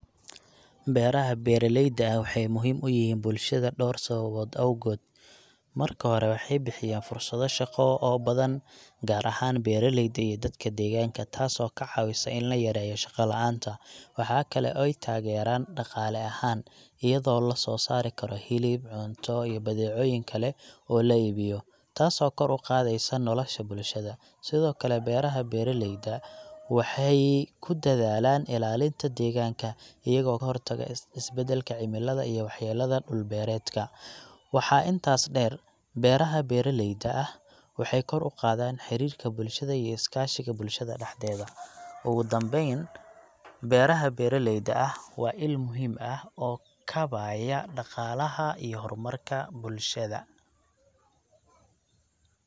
Beeraha beeralayda ah waxay muhiim u yihiin bulshada dhowr sababood awgood. Marka hore, waxay bixiyaan fursado shaqo oo badan, gaar ahaan beeralayda iyo dadka deegaanka, taasoo ka caawisa in la yareeyo shaqa la'aanta. Waxaa kale oo ay taageeraan dhaqaale ahaan, iyadoo la soo saari karo hilib, cunto, iyo badeecooyin kale oo la iibiyo, taasoo kor u qaadaysa nolosha bulshada. Sidoo kale, beeraha beeralayda waxay ku dadaalaan ilaalinta deegaanka, iyagoo ka hortaga isbeddelka cimilada iyo waxyeellada dhul-beereedka. Waxaa intaas dheer, beeraha beeralayda ah waxay kor u qaadaan xiriirka bulshada iyo iskaashiga bulshada dhexdeeda. Ugu dambeyn, beeraha beeralayda ah waa il muhiim ah oo kaabaya dhaqaalaha iyo horumarka bulshada.